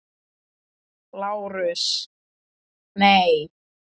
LÁRUS: Nei.